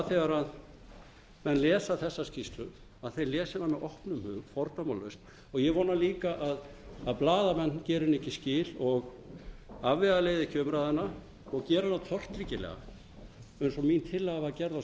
þegar menn lesa þessa skýrslu lesi þeir hana með opnum hug fordómalaust og ég vona líka að blaðamenn geri henni skil og afvegaleiði ekki umræðuna og geri hana tortryggilega eins og alin tillaga var gerð á